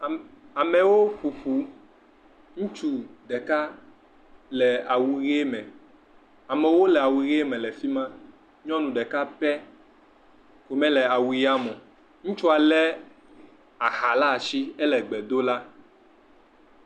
Amewo ƒo bu, ŋutsu ɖeka le awu ɣie me amewo le awu ɣie me ke nyɔnu ɖeka pe mele awu ɣie me o, ŋutsua le aha ɖe ai hɛnɔ gbeɖom da